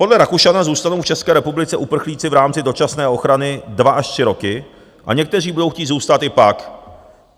Podle Rakušana zůstanou v České republice uprchlíci v rámci dočasné ochrany dva až tři roky a někteří budou chtít zůstat i pak.